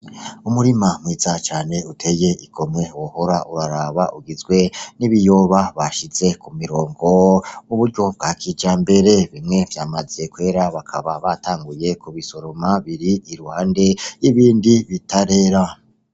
Umurima mwiza cane uteye igomwe wohora uraraba ugizwe n'ibiyoba bashize mu mirongo mu buryo bga kijambere. Bimwe vyamaze kwera bakaba batanguye kubisoroma biri Iruhande yibindi bitarera.